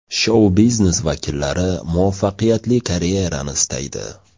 Shou-biznes vakillar muvaffaqiyatli karyerani istaydi.